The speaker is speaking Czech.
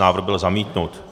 Návrh byl zamítnut.